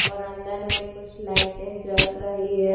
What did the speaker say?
और अंदर में कुछ लाइटें जल रही हैं।